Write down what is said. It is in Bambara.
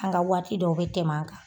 An ka waati dɔw bɛ tɛmɛn an kan.